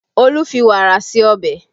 Olu fi wàrà ṣe ọbẹ̀